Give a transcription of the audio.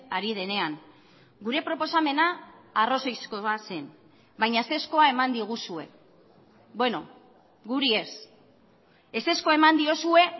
ari denean gure proposamena arrazoizkoa zen baina ezezkoa eman diguzue bueno guri ez ezezkoa eman diozue